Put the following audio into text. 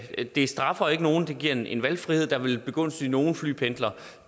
det straffer ikke nogen det giver en en valgfrihed der vil begunstige nogle flypendlere